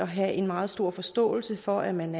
have en meget stor forståelse for at man